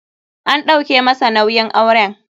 An ɗauke masa nauyin auren.